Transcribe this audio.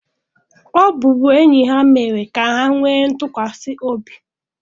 Ọbụbụenyi ha mere ka ha nwee ntụkwasị obi.